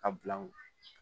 A bila n kun